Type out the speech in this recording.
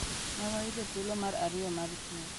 Ne wayudo thuolo mar ariyo mar piem.